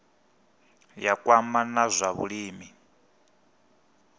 ya kwama na zwa vhulimi